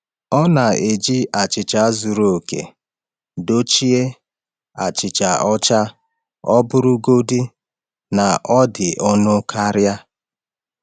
Ọ na-eji achịcha zuru oke dochie achịcha ọcha ọ bụrụgodị na ọ dị ọnụ karịa.